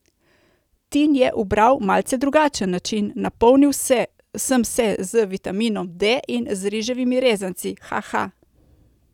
Tin je ubral malce drugačen način: "Napolnil sem se z vitaminom D in z riževimi rezanci, ha ha.